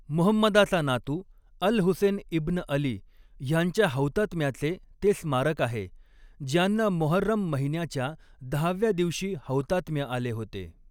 मुहम्मदाचा नातू Al Hussein ibn Ali ह्यांच्या हौतात्म्याचे ते स्मारक आहे, ज्यांना मोहर्रम महिन्याच्या दहाव्या दिवशी हौतात्म्य आले होते.